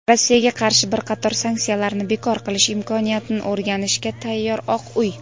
Rossiyaga qarshi bir qator sanksiyalarni bekor qilish imkoniyatini o‘rganishga tayyor – "Oq uy".